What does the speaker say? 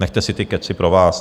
Nechte si ty kecy pro vás!